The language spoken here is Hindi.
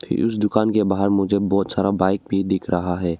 फिर उस दुकान के बाहर मुझे बहुत सारा बाइक भी दिख रहा है।